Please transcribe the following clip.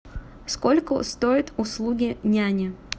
сколько стоят услуги няни